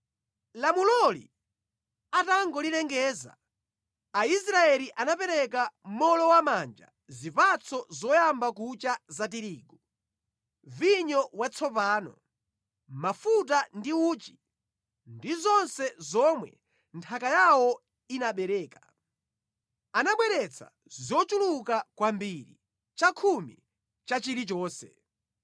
Lamuloli atangolilengeza, Aisraeli anapereka mowolowamanja zipatso zoyamba kucha za tirigu, vinyo watsopano, mafuta ndi uchi ndi zonse zomwe nthaka yawo inabereka. Anabweretsa zochuluka kwambiri, chakhumi cha chilichonse.